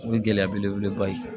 O ye gɛlɛya belebele ba ye